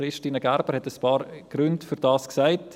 Christine Gerber hat einige Gründe dafür genannt.